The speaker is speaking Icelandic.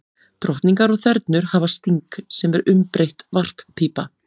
Drottningar og þernur hafa sting, sem er umbreytt varppípa.